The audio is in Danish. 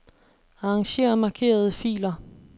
Arranger markerede filer.